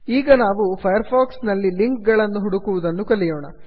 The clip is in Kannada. ಈಗ ನಾವು ಫೈರ್ ಫಾಕ್ಸ್ ನಲ್ಲಿ ಲಿಂಕ್ ಗಳನ್ನು ಹುಡುಕುವುದನ್ನು ಕಲಿಯೋಣ